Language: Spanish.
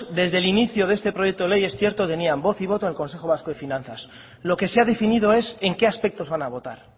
desde el inicio de este proyecto de ley es cierto tenían voz y voto en el consejo vasco de finanzas lo que se ha definido es en qué aspectos van a votar